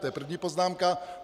To je první poznámka.